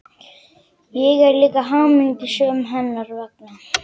Ég er líka hamingjusöm hennar vegna.